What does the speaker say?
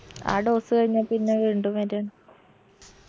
ആ dose കഴിഞ്ഞാ പിന്ന വീണ്ടും വര്അ